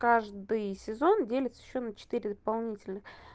каждый сезон делится ещё на четыре дополнительных